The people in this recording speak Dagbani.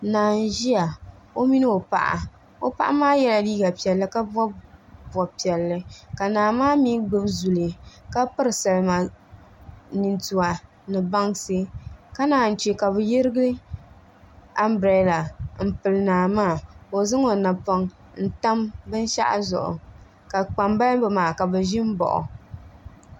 Naa n ʒiya o mini o paɣa o paɣa maa yɛla liiga piɛlli ka bob bob piɛlli ka naa maa mii gbubi zuli ka piri salima nintua ni bansi ka naan chɛ ka bi yirigi anbirɛla n pili naa maa ka o zaŋ o napoŋ n tam binshaɣu zuɣu ka kpambalibi maa ka bi ʒi n baɣa o